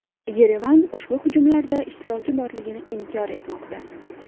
Yerevan ushbu hujumlarda ishtiroki borligini inkor etmoqda.